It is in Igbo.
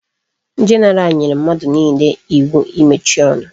General nyere mmadu niile iwu imechi onu